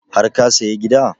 Har ka saya gida?